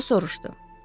O soruşdu.